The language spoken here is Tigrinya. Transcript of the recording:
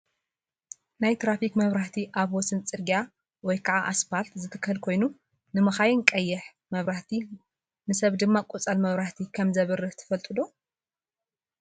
ናይ ተራፊክ መብራህቲ ኣብ ወሰን ፅርጊያ /እስፓልት/ ዝትከል ኮይኑ ንመካይን ቀይሕ መብራህቲ ንሰብ ድማ ቆፃል መብራህቲ ከምዘብርህ ትፈልጡ ዶ ?